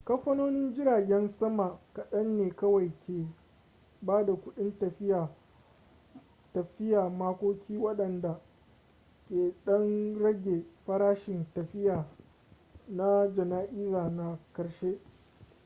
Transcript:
kamfanonin jiragen sama kaɗan ne kawai ke ba da kudin tafiya makoki waɗanda ke ɗan rage farashin tafiya na jana'iza na ƙarshe